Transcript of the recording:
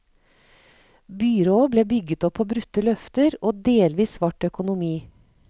Byrået ble bygget opp på brutte løfter og delvis svart økonomi.